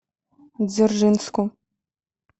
дзержинску